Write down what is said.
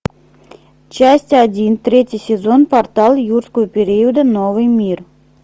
часть один третий сезон портал юрского периода новый мир